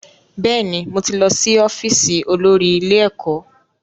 Bẹ́ẹ̀ni, mo ti lọ́ sí ọ́fíìsì olórí ilé ẹ̀kọ́